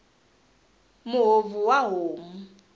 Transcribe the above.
muhovhi wa homu